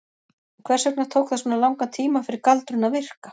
En hvers vegna tók það svona langan tíma fyrir galdurinn að virka?